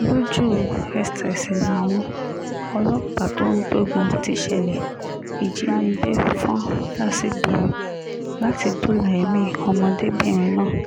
lójú-ẹsẹ̀ sì làwọn ọlọ́pàá tó ń gbógun ti ìṣẹ̀lẹ̀ ìjínigbé fọ́n dà sígboro láti dóòlà èmi ọmọdébìnrin náà